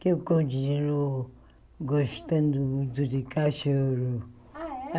Que eu continuo gostando muito de cachorro. Ah é